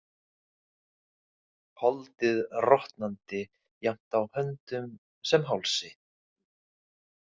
Holdið rotnandi jafnt á höndum sem hálsi.